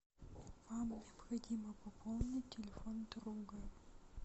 вам необходимо пополнить телефон друга